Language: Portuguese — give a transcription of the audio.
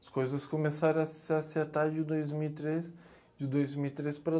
As coisas começaram a se acertar de dois mil e três de dois mil e três para